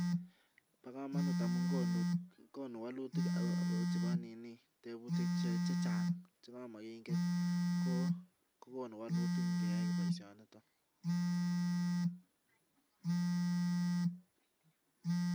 Bokomonut amun konu wolutik chebo ninii chebo tebutik chechang chekamokingen ko konu wolutik ingeyai boishoniton